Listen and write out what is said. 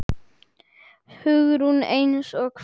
Hugrún: Eins og hvað?